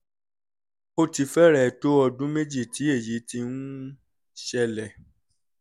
ó ti fẹ́rẹ̀ẹ́ tó ọdún méjì tí èyí ti ń ṣẹlẹ̀